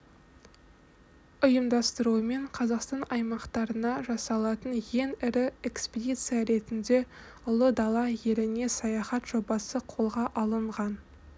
ұйымдастыруымен қазақстан аймақтарына жасалатын ең ірі экспедиция ретінде ұлы дала еліне саяхат жобасы қолға алынған